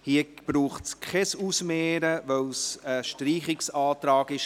Hier braucht es kein Ausmehren, weil es ein Streichungsantrag war.